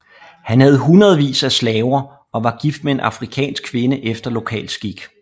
Han havde hundredvis af slaver og var gift med en afrikansk kvinde efter lokal skik